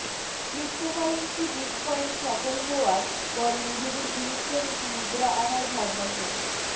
cryptocurrency bitcoin সফল হওয়ার পর নিজেদের ইলেকট্রনিক মুদ্রা আনার ভাবনাচিন্ত